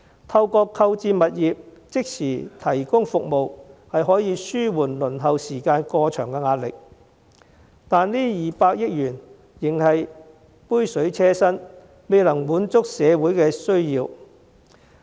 透過購置物業即時提供服務，可紓緩輪候時間過長的壓力，但這200億元仍是杯水車薪，未能滿足社會的需要。